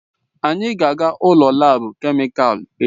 Anyị ga-aga ụlọ laabu kemịkalụ echi.